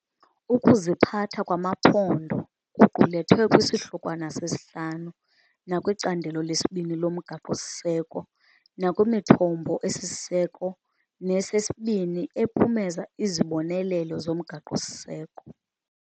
Ukuziphatha kwamaphondo kuqulethwe kwiSihlokwana V nakwiCandelo II loMgaqo-siseko nakwimithombo esisiseko nesesibini ephumeza izibonelelo zomgaqo-siseko.